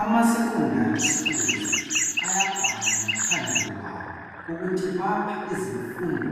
Ama secondary schools ayabhala ngaphandle kwawo , ukuthi bapha izimfundo